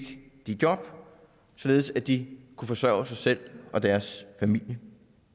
de job således at de kunne forsørge sig selv og deres familie